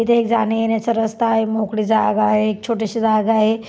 इथे एक जान्या येण्याचा रस्ता आहे मोकळी जागा आहे एक छोटीशी जागा आहे.